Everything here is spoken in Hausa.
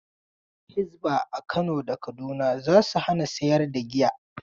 Hisba a Kano da Kaduna za su hana sayar da giya.